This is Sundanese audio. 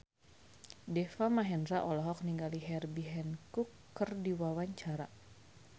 Deva Mahendra olohok ningali Herbie Hancock keur diwawancara